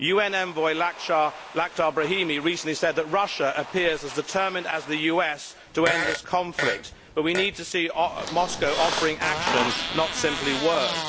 UN envoy, Lakdar Brahimi, recently said that Russia appears as determined as the US to end this conflict, but we need to see Moscow offering action, not simply words.